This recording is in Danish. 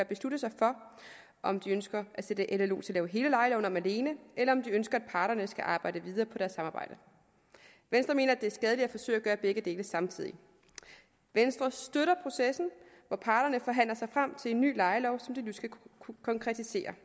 beslutte sig for om de ønsker at sætte llo til at lave hele lejeloven om alene eller om de ønsker at parterne skal arbejde videre på deres samarbejde venstre mener at det er skadeligt at forsøge at gøre begge dele samtidig venstre støtter processen hvor parterne forhandler sig frem til en ny lejelov som de nu skal konkretisere